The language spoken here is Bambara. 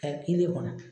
Ka kilen kɔnɔ